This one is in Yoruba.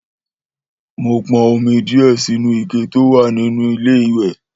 Mó pon omi díè sínú ike tówà nínú ilé ìwè